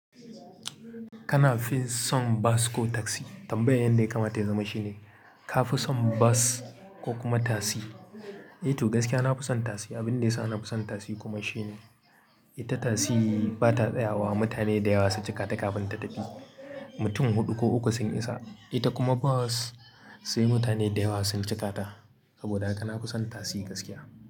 Kana fin son bus ko taksi? Tambayan yanda ya kamata ya zama shine ka fi son bus ko kuma tasi? Eh to gaskiya na fi son tasi. Abin da ya sa na fi son tasi kuma shine ita tasi ba ta tsayawa mutane da yawa su cikata kafin ta tafi. Mutum huɗu ko uku sun isa. Ita kuma bas sai mutane da yawa sun cikata. Saboda haka na fi son tasi gaskiya.